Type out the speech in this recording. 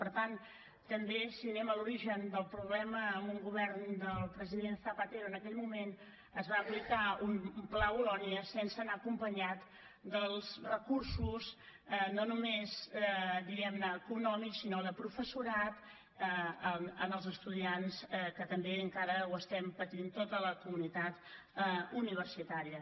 per tant també si anem a l’origen del problema amb un govern del president zapatero en aquell moment es va aplicar un pla bolonya sense anar acompanyat dels recursos no només diguem ne econòmics sinó de professorat per als estudiants que també encara ho estem patint tota la comunitat universitària